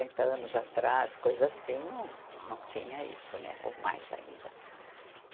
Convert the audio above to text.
anos atrás, coisa assim, não tinha isso, né, ou mais ainda.